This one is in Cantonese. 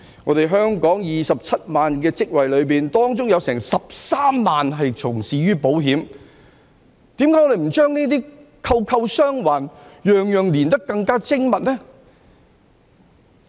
在香港27萬個相關職位當中，有13萬人從事保險業，為何我們不把這些環環相扣，把每件事情連結得更加精密呢？